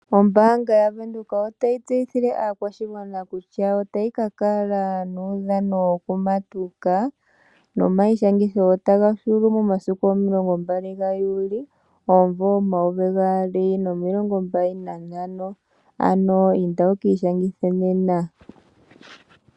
Ombaanga yavenduka otayi tseyithile aakwashigwana nokutya otayi kakala nomaudhano gokumatuka, nomaishangitho otaga hulu momasiku omilongo mbali ga Juli, omumvo omayovi gaali nomilongo mbali nantano, ano inda wukiishangithe nena.